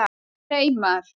Reimar